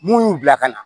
Mun y'u bila ka na